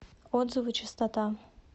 отзывы чистота